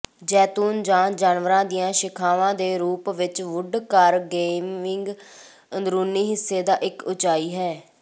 ਜੈਤੂਨ ਜਾਂ ਜਾਨਵਰਾਂ ਦੀਆਂ ਸ਼ਾਖਾਵਾਂ ਦੇ ਰੂਪ ਵਿਚ ਵੁੱਡਕਾਰਗੇਵਿੰਗ ਅੰਦਰੂਨੀ ਹਿੱਸੇ ਦਾ ਇਕ ਉਚਾਈ ਹੈ